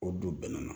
O don bɛn na